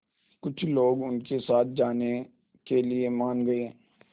कुछ लोग उनके साथ जाने के लिए मान गए